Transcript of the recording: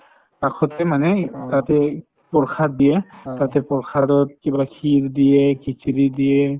কাষতে মানে তাতেই প্ৰসাদ দিয়ে তাতে প্ৰসাদত কি বোলে kheer দিয়ে khichdi দিয়ে